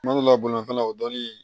Kuma dɔ la bolifɛn o dɔɔni